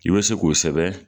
I bɛ se k'o kosɛbɛ.